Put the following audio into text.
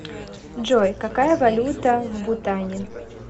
джой какая валюта в бутане